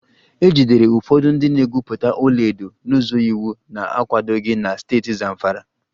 E jidere ụfọdụ ndị na-egwupụta ọlaedo n'ụzọ iwu na-akwadoghị na steeti Zamfara